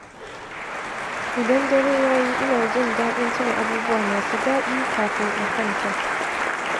Idan dare ya yi, ina jin daɗin tuna abubuwa masu daɗi kafin in kwanta.